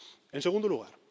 En segundo lugar.